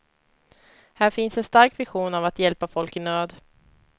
Här finns en stark vision av att hjälpa folk i nöd.